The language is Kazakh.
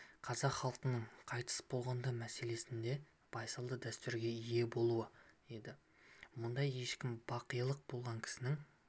қазақ халқының қайтыс болғандар мәселесінде байсалды дәстүрге ие болуы еді мұнда ешкім бақилық болған кісінің